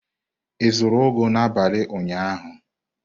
A zụrụ ugu n'abalị ụnyaahụ?